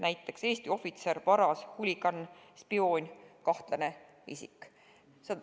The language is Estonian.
Näiteks, Eesti ohvitser, varas, huligaan, spioon, kahtlane isik.